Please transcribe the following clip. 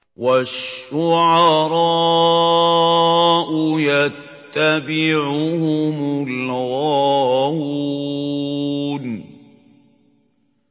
وَالشُّعَرَاءُ يَتَّبِعُهُمُ الْغَاوُونَ